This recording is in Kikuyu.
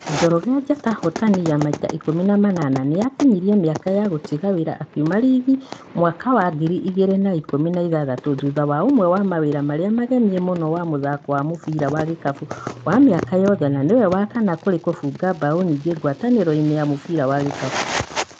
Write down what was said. Njoroge, njata hotani ya maita ikũmi na manana, nĩakinyirie mĩaka ya gũtiga wĩra akiuma riginĩ mwaka wa ngiri igĩrĩ na ikũmi na ithathatũ thutha wa ũmwe wa mawĩra marĩa magemie mũno wa mũthako wa mũbira wa gĩkabũ wa mĩaka yothe na nĩwe wa kana kũrĩ kũbunga mbaũ nyingĩ ngwatanĩroinĩ ya mũbira wa gĩkabũ